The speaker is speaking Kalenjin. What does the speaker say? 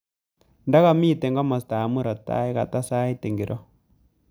Ndakamite komostab murop tai katasait ngiro